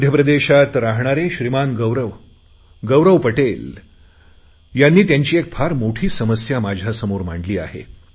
मध्यप्रदेशात राहणारे श्रीमान गौरव पटेल यांनी त्यांची फार मोठी समस्या माझ्यासमोर मांडली आहे